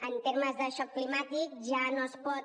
en termes de xoc climàtic ja no es pot